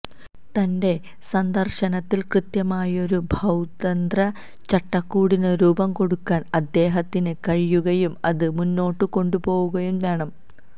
തന്റെ സന്ദര്ശനത്തില് കൃത്യമായൊരു ഭൌമതന്ത്ര ചട്ടക്കൂടിന് രൂപം കൊടുക്കാന് അദ്ദേഹത്തിന് കഴിയുകയും അത് മുന്നോട്ട് കൊണ്ടുപോവുകയും വേണം